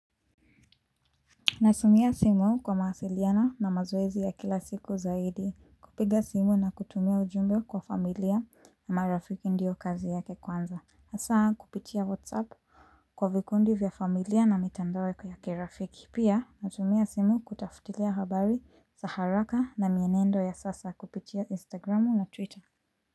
Natumia simu kwa mawasiliano na mazoezi ya kila siku zaidi kupiga simu na kutumia ujumbe kwa familia na marafiki ndio kazi yake kwanza. Hasa kupitia whatsapp kwa vikundi vya familia na mitandao yangu ya kirafiki. Pia natumia simu kutafutilia habari, za haraka na mienendo ya sasa kupitia instagramu na twitter.